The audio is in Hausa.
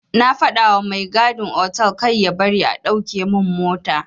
Na fadawa mai gadin otal karya bari a dauke min mota.